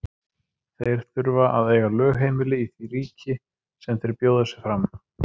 Þeir þurfa að eiga lögheimili í því ríki sem þeir bjóða sig fram.